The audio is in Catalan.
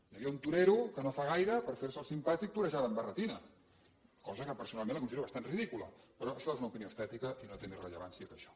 hi havia un torero que no fa gaire per fer se el simpàtic torejava amb barretina cosa que personalment la considero bastant ridícula però això és una opinió estètica i no té més rellevància que això